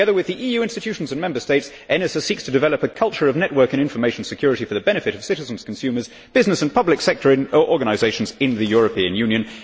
Together with the EU institutions and Member States, ENISA seeks to develop a culture of network and information security for the benefit of citizens, consumers, business and public sector organisations in the European Union.